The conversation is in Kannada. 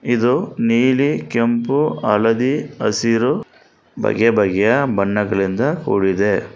ಇದು ನೀಲಿ ಕೆಂಪು ಹಳದಿ ಹಸಿರು ಬಗೆಬಗೆಯ ಬಣ್ಣಗಳಿಂದ ಕೂಡಿದೆ.